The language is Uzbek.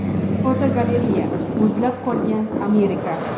Fotogalereya: Muzlab qolgan Amerika.